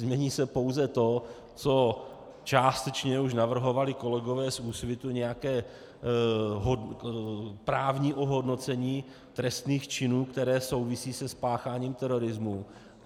Změní se pouze to, co částečně už navrhovali kolegové z Úsvitu, nějaké právní ohodnocení trestných činů, které souvisí se spácháním terorismu.